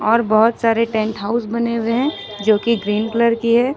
और बहुत सारे टेंट हाउस बने हुए हैं जो कि ग्रीन कलर की है।